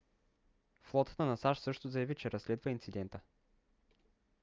флотата на сащ също заяви че разследва инцидента